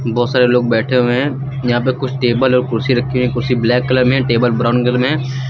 बोहोत सारे लोग बैठे हुए हैं। यहां पे कुछ टेबल और कुर्सी रखी हुई। कुर्सी ब्लैक कलर में है। टेबल ब्राउन कलर में है।